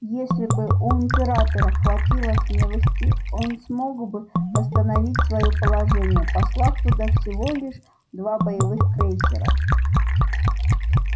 если бы у императора хватило смелости он смог бы восстановить своё положение послав туда всего лишь два боевых крейсера